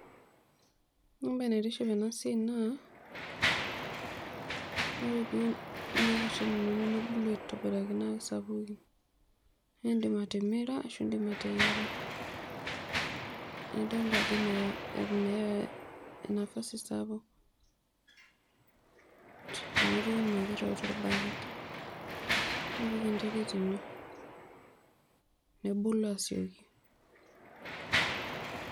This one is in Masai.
Ore embae naitiship enasiai naa ore piun kuna kwashen inonok nebulu aitobiraki nesapuku, naindim atimira nindim ateyiara naidolta ajeo meya e nafasi sapuktorbaket, nipik enterit ino nebulu asieki.